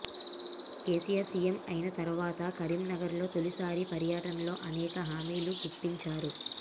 KCR CM అయిన తర్వాత కరీంనగర్ లో తొలిసారి పర్యటనలో అనేక హామీలు గుప్పించారు